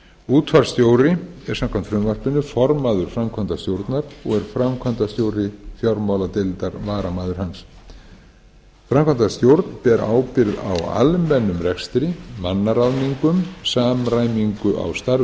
útvarpsstjóri er samkvæmt frumvarpinu formaður framkvæmdastjórnar og er framkvæmdastjóri fjármáladeildar varamaður hans framkvæmdastjórn ber ábyrgð á almennum rekstri mannaráðningum samræmingu á